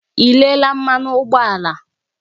Ị lelee mmanụ ụgbọala?